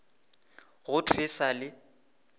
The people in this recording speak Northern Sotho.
go thwe e sa le